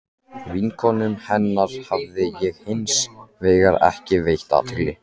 Vinkonum hennar hafði ég hins vegar ekki veitt athygli.